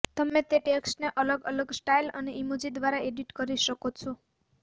તમે તે ટેક્સ્ટને અલગ અલગ સ્ટાઇલ અને ઈમોજી ઘ્વારા એડિટ કરી શકો છો